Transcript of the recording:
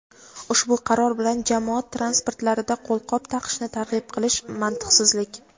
ushbu qaror bilan "Jamoat transportlarida qo‘lqop taqishni targ‘ib qilish – mantiqsizlik".